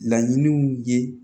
Laɲiniw ye